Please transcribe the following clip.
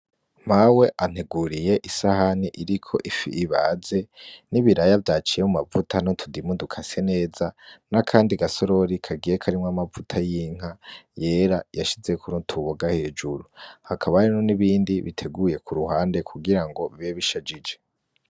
Mawe anteguriye isahani iriko ifi ibaze n'ibiraya vyaciye mu mavuta no tudimuduka se neza nakandi gasorori kagiye karimwo amavuta y'inka yera yashize kunutuboga hejuru hakabarino n'ibindi biteguye ku ruhande kugira ngo bibe bishajije.